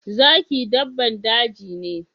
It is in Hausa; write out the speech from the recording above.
Zaki daban daji ne.